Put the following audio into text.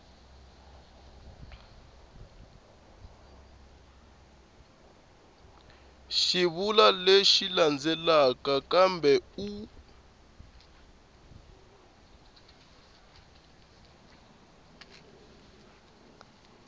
xivulwa lexi landzelaka kambe u